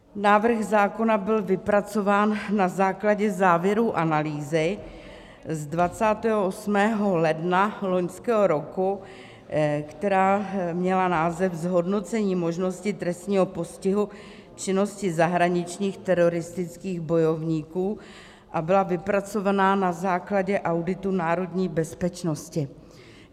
Návrh zákona byl vypracován na základě závěrů analýzy z 28. ledna loňského roku, která měla název Zhodnocení možnosti trestního postihu činnosti zahraničních teroristických bojovníků a byla vypracována na základu auditu národní bezpečnosti.